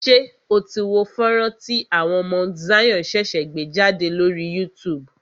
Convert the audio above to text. Ṣé o tí wo fọ́nrán tí àwọn Mount Zion ṣẹ̀ṣẹ̀ gbé jádè lórí YouTube?